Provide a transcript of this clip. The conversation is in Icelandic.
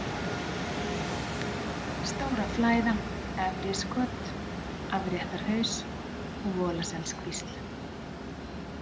Stóraflæða, Efriskot, Afréttarhaus, Volaselskvísl